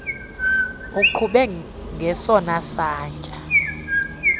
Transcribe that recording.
uqhube ngesona satya